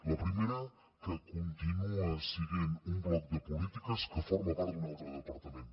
la primera que continua sent un bloc de polítiques que forma part d’un altre departament